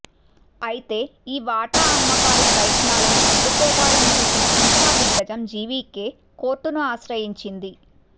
అయితే ఈ వాటా అమ్మకాల ప్రయత్నాలను అడ్డుకోవాలని చూసిన ఇన్ఫ్రా దిగ్గజం జీవీకే కోర్టును ఆశ్రయించింది